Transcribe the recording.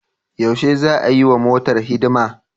Yaushe za'a yiwa motar hidima?